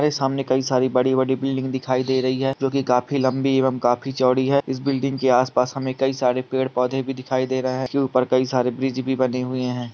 सामने कई सारी बड़ी-बड़ी बिल्डिंग दिखाई दे रही है जो की काफी लंबी एवं काफी छोड़ी है इस बिल्डिंग के आस-पास हमें कई सारे पेड़-पौधे भी दिखाई दे रहे है उसके ऊपर कई सारे ब्रिज भी बने हुए है